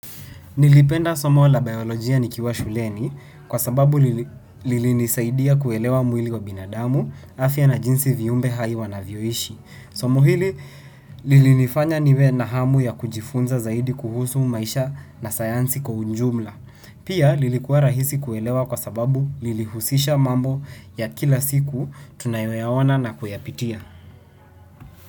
Nilipenda somo la biolojia nikiwa shuleni kwa sababu lilinisaidia kuelewa mwili wa binadamu afya na jinsi viumbe hai wanavyoishi. Somo hili lilinifanya niwe na hamu ya kujifunza zaidi kuhusu maisha na sayansi kwa ujumla. Pia lilikuwa rahisi kuelewa kwa sababu lilihusisha mambo ya kila siku tunayoyaona na kuyapitia.